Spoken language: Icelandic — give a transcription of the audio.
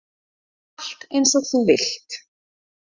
Allt eins og þú vilt.